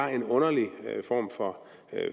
er en underlig form for